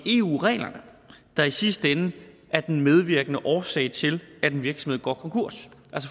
eu reglerne der i sidste ende er den medvirkende årsag til at en virksomhed går konkurs